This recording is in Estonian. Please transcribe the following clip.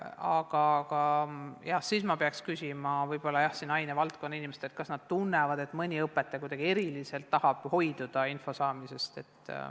Aga ma peaksin võib-olla küsima ainevaldkonna inimestelt, kas nad on tähele pannud, et on mõni õpetaja, kes kuidagi eriliselt tahab hoiduda info saamisest.